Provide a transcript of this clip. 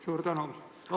Suur tänu!